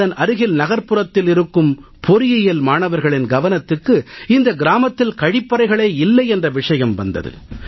அதன் அருகில் நகர்ப்புறத்தில் இருக்கும் பொறியியல் மாணவர்களின் கவனத்துக்கு இந்த கிராமத்தில் கழிப்பறைகளே இல்லை என்ற விஷயம் வந்தது